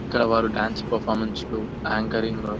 ఇక్కడ వారు dance performance లు యాంకరింగ్ లు --